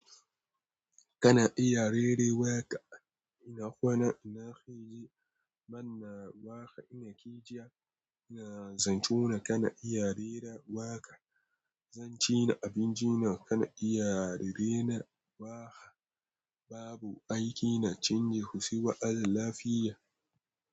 Kana iya rera waka? Ina kwana ina kiji Manna waka ina kijiya ina zanto na kana iya rera waka. Zan ci na abinci na kana iya rera waka. Babu aiki na canji kusuwa alafiya.